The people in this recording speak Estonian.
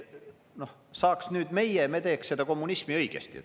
Saaks nüüd meie, me teeks seda kommunismi õigesti.